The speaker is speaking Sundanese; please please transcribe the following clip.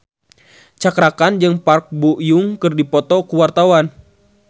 Cakra Khan jeung Park Bo Yung keur dipoto ku wartawan